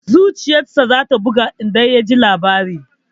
Zuciyar sa za ta buga idan ya ji labarin.